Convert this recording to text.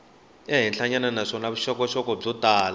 henhlanyana naswona vuxokoxoko byo tala